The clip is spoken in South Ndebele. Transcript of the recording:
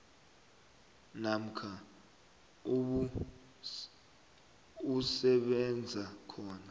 namkha usebenza khona